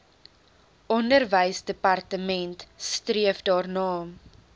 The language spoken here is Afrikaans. onderwysdepartement streef daarna